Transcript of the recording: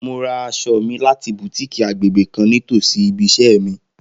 Mo ra aṣọ mi lati Butikii agbegbe kan nitosi ibi iṣẹ mi.